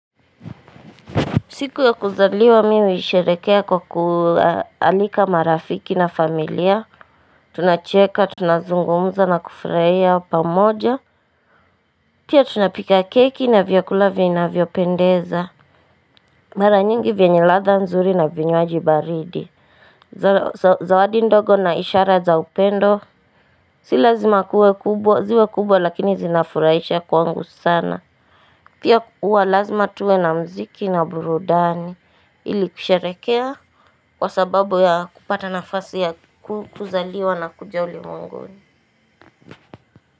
Siku ya kuzaliwa mimi nilisherekea kwa kualika marafiki na familia. Tunacheka, tunazungumza na kufurahia pamoja. Pia tunapika keki na vyakula vinavyo pendeza. Mara nyingi vyenye ladha nzuri na vinywaji baridi. Zawadi ndogo na ishara za upendo. Si lazima kuwe kubwa, ziwe kubwa lakini zinafurahisha kwangu sana. Pia huwa lazima tuwe na muziki na burudani ili kusharekea kwa sababu ya kupata nafasi ya kuzaliwa na kuja ulimwenguni.